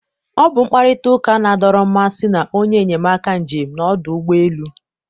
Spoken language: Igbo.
ọ bụ mkparịta ụka na-adọrọ mmasị na onye enyemaka njem na ọdụ ụgbọ elu.